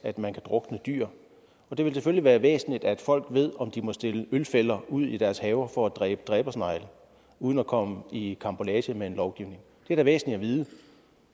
at man kan drukne dyr det vil selvfølgelig være væsentligt at folk ved om de må stille ølfælder ud i deres haver for at dræbe dræbersnegle uden at komme i karambolage med en lovgivning det er da væsentligt at vide